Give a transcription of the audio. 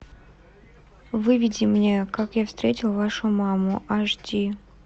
выведи мне как я встретил вашу маму аш ди